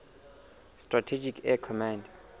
strategic air command